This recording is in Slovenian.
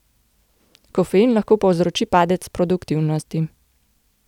Kofein lahko povzroči padec produktivnosti.